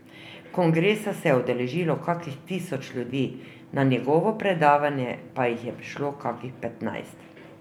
Kongresa se je udeležilo kakih tisoč ljudi, na njegovo predavanje pa jih je prišlo kakih petnajst.